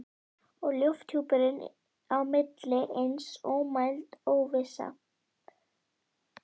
Og lofthjúpurinn á milli eins og ómæld óvissa.